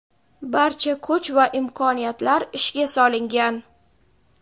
barcha kuch va imkoniyatlar ishga solingan.